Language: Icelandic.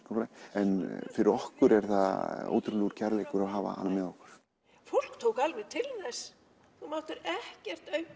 en fyrir okkur er það ótrúlegur kærleikur að hafa hana með okkur fólk tók alveg til þess þú máttir ekkert